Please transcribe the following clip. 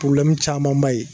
camanba ye